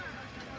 Noldu?